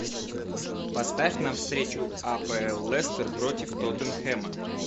поставь нам встречу апл лестер против тоттенхэма